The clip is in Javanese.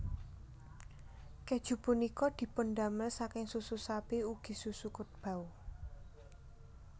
Keju punika dipundamel saking susu sapi ugi susu kerbau